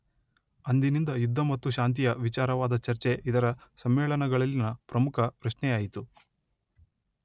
ಅಂದಿನಿಂದ ಯುದ್ಧ ಮತ್ತು ಶಾಂತಿಯ ವಿಚಾರವಾದ ಚರ್ಚೆ ಇದರ ಸಮ್ಮೇಳನಗಳಲ್ಲಿನ ಪ್ರಮುಖ ಪ್ರಶ್ನೆಯಾಯಿತು.